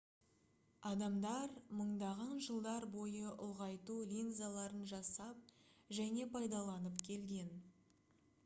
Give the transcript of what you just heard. адамдар мыңдаған жылдар бойы ұлғайту линзаларын жасап және пайдаланып келген